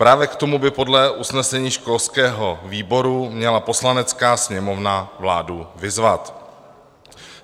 Právě k tomu by podle usnesení školského výboru měla Poslanecká sněmovna vládu vyzvat.